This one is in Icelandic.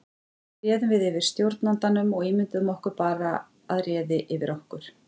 Þar með réðum við yfir stjórnandanum og ímynduðum okkur bara að réði yfir okkur.